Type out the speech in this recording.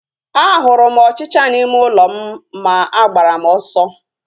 A hụrụ m ọchịchịa n'ime ụlọ m ma agbara m ọsọ